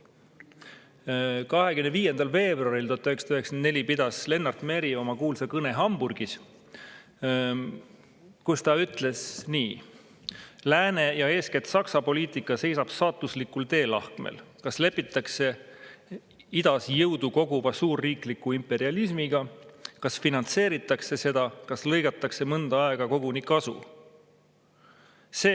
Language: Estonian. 25. veebruaril 1994 pidas Lennart Meri oma kuulsa kõne Hamburgis, kus ta ütles nii: "Lääne ja eeskätt Saksa poliitika seisab saatuslikul teelahkmel: kas lepitakse Idas jõudu koguva suurriikliku imperialismiga, kas finantseeritakse seda, kas lõigatakse mõnda aega koguni kasu?